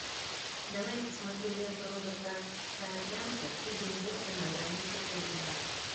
давай я посмотрю ленту роберта саакянца три билборда на границе эббинга